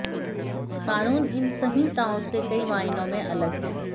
कानून इन संहिताओं से कई मायनों में अलग है